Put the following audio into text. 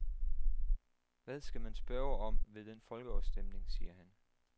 Hvad skal man spørge om ved den folkeafstemning, siger han?